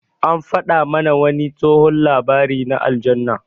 An faɗa mana wani tsohon labari na aljanna.